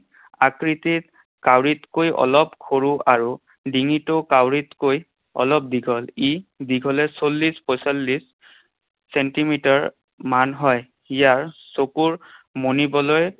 আকৃতিত কাউৰীতকৈ অলপ সৰু আৰু ডিঙিটো কাউৰীতকৈ অলপ দীঘল। ই দীঘলে চল্লিশ পঞ্চল্লিশ চেণ্টিমিটাৰমান হয়। ইয়াৰ চকুৰ মনিবলৈ